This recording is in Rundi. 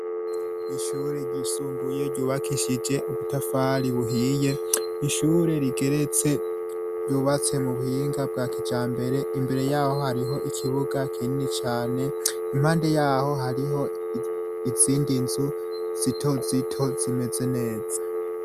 Ishuri ryisumbuye ryubakishije ubutafari buhiye ishuri rigeretse ryubatse mu buhinga bwa kijambere imbere yaho hariho ikibuga kinini cane impande yaho hariho izindi nzu zitozito zimeze neza.